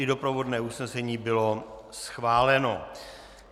I doprovodné usnesení bylo schváleno.